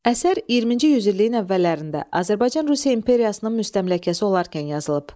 Əsər 20-ci yüzilliyin əvvəllərində Azərbaycan Rusiya imperiyasının müstəmləkəsi olarkən yazılıb.